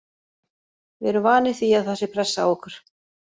Við erum vanir því að það sé pressa á okkur.